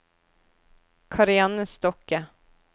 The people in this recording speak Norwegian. Karianne Stokke